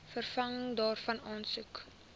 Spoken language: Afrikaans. vervanging daarvan aansoek